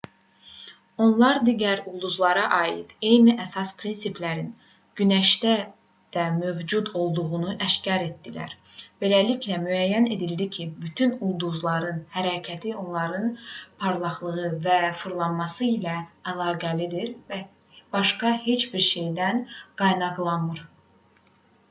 onlar digər ulduzlara aid eyni əsas prinsiplərin günəşdə də mövcud olduğunu aşkar etdilər beləliklə müəyyən edildi ki bütün ulduzların hərəkəti onların parlaqlığı və fırlanması ilə əlaqəlidir və başqa heç bir şeydən qaynaqlanmır